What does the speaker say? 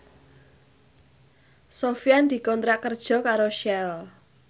Sofyan dikontrak kerja karo Shell